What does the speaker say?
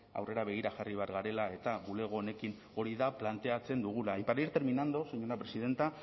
aurrera begira jarri behar garela eta bulego honekin hori da planteatzen dugula y para ir terminando señora presidenta